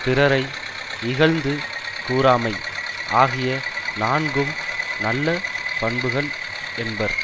பிறரை இகழ்ந்து கூறாமை ஆகிய நான்கும் நல்ல பண்புகள் என்பர்